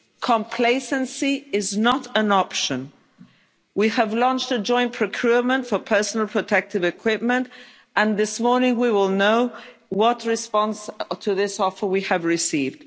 Complacency is not an option. We have launched a joint procurement for personal protective equipment, and this morning we will know what response to this offer we have received.